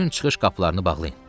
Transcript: Bütün çıxış qapılarını bağlayın.